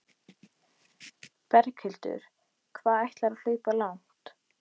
Berghildur: Hvað ætlarðu að hlaupa langt?